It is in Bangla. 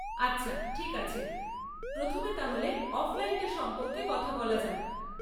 আচ্ছা, ঠিক আছে, প্রথমে তাহলে অফলাইনটা সম্পর্কে কথা বলা যাক।